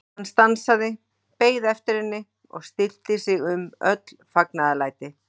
Hann stansaði, beið eftir henni og stillti sig um öll fagnaðarlæti.